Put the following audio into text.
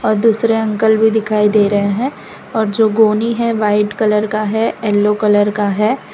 दूसरे अंकल भी दिखाई दे रहे हैं और जो गोनी है व्हाइट कलर का है येलो कलर का है।